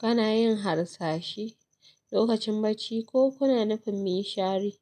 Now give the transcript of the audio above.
Kana yin harsashe lokacin bacci ko kuna nufin min shari.